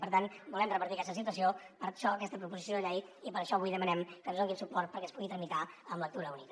per tant volem revertir aquesta situació per això aquesta proposició de llei i per això avui demanem que ens donin suport perquè es pugui tramitar en lectura única